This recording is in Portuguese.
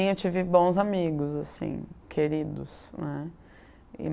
Sim, eu tive bons amigos, assim, queridos, né.